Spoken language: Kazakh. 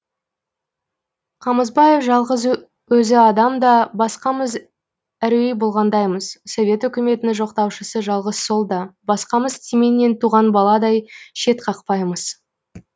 қамысбаев жалғыз өзі адам да басқамыз әруей болғандаймыз совет өкіметінің жоқтаушысы жалғыз сол да басқамыз тименнен туған баладай шет қақпаймыз